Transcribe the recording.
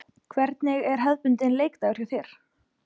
Hvernig er hefðbundinn leikdagur hjá þér?